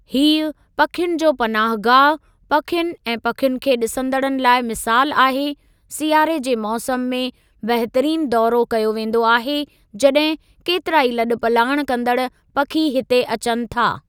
हीअ पखियुनि जो पनाह गाह, पखियुनि ऐं पखियुनि खे ॾिंसदड़नि लाइ मिसाल आहे, सियारे जे मौसमु में बहितरीन दौरो कयो वेंदो आहे जॾहिं केतिराई लॾ पलाण कंदड़ु पखी हिते अचनि था।